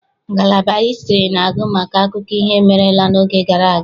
Ngalaba hịstrị na-agụ maka akụkọ ihe merela n'oge gara aga.